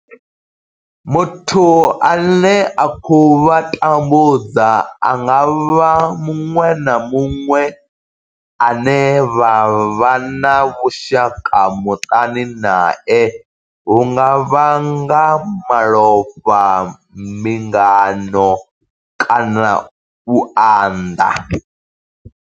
Muthu ane a khou vha tambudza a nga vha muṅwe na muṅwe ane vha vha na vhushaka muṱani nae hu nga vha nga malofha, mbingano kana u unḓa.